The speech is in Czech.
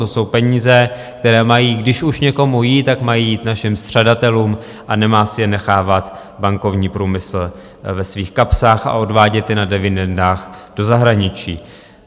To jsou peníze, které mají, když už někomu jít, tak mají jít našim střadatelům a nemá si je nechávat bankovní průmysl ve svých kapsách a odvádět je na dividendách do zahraničí.